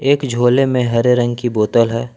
एक झोले में हरे रंग की बोतल है।